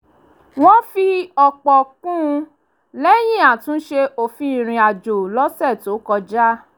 wọ́n fi òpò kún un lẹ́yìn àtúnṣe òfin ìrìnàjò lọ́sẹ̀ tó kọjá